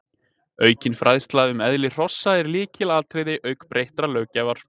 Aukin fræðsla um eðli hrossa er lykilatriði auk breyttrar löggjafar.